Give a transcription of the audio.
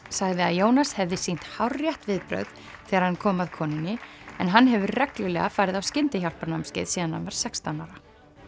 sagði að Jónas hefði sýnt hárrétt viðbrögð þegar hann kom að konunni en hann hefur reglulega farið á skyndihjálparnámskeið síðan hann var sextán ára